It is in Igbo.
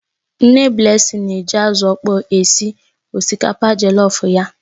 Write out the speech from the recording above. Nne Blessing na-eji azụ ọkpọr esi osikapa jellof ya.